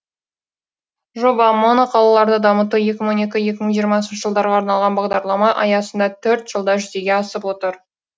жоба моноқалаларды дамыту екі мың он екі екімың жиырмасыншы жылдарға арналған бағдарлама аясында төрт жылда жүзеге асып отыр